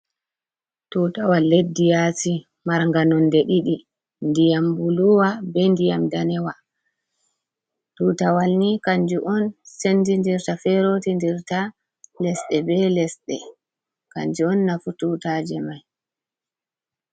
Tutawal leddi yaasi marga nonde ɗiɗi ndiyam buluwa, be ndiyam danewa. Tutawal ni kanjum on sendi dirta ferotir dirta lesɗe be lesɗe. Kanjum on nafu tutaje mai.